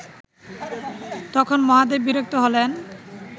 তখন মহাদেব বিরক্ত হলেন